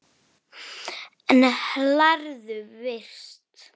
En lærðu fyrst.